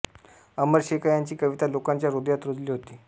अमर शेखा यांची कविता लोकांच्या हृदयात रुजली होती